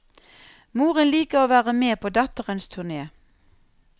Moren liker å være med på datterens turné.